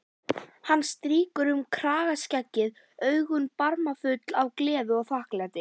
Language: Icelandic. Hann strýkur um kragaskeggið, augun barmafull af gleði og þakklæti.